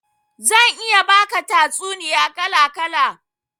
Zan iya baka tatsuniya kala kala